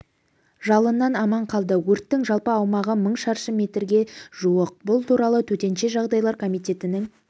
жалыннан аман қалды өрттің жалпы аумағы мың шаршы метрге жуық бұл туралы төтенше жағдайлар комитетінің